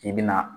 K'i bɛna